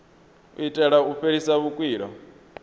u itela u fhelisa vhukwila